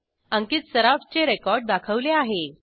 अंकित Sarafचे रेकॉर्ड दाखवले आहे